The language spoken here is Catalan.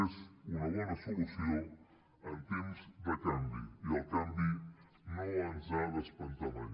és una bona solució en temps de canvi i el canvi no ens ha d’espantar mai